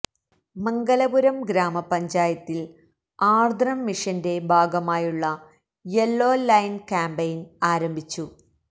മംഗലപുരം ഗ്രാമപഞ്ചായത്തിൽ ആർദ്രം മിഷന്റെ ഭാഗമായുള്ള യെല്ലോ ലൈൻ കാമ്പയിൻ ആരംഭിച്ചു